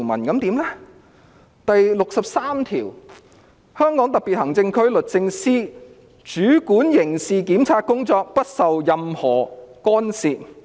《基本法》第六十三條訂明："香港特別行政區律政司主管刑事檢察工作，不受任何干涉。